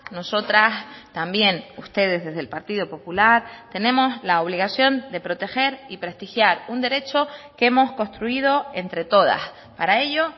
nosotras también ustedes desde el partido popular tenemos la obligación de proteger y prestigiar un derecho que hemos construido entre todas para ello